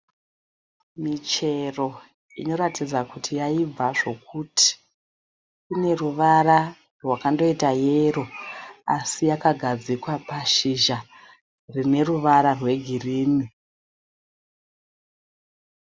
Michero inoratidza kuti yaibva zvokuti. Ine ruvara rwakandoita yero asi yakagadzikwa pashizha rine ruvara rwegirini.